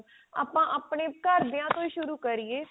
ਆਪਾਂ ਆਪਣੇ ਘਰਦਿਆਂ ਤੋਂ ਹੀ ਸ਼ੁਰੂ ਕਰੀਏ